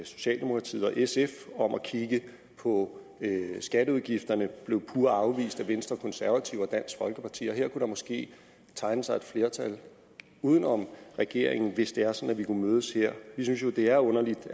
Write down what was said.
socialdemokratiet og sf om at kigge på skatteudgifterne blev pure afvist af venstre konservative og dansk folkeparti her kunne der måske tegne sig et flertal uden om regeringen hvis det er sådan at vi kunne mødes her vi synes jo at det er underligt